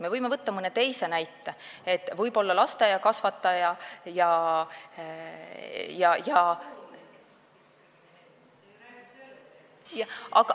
Me võime võtta mõne teise näite, võib-olla lasteaiakasvataja ja ...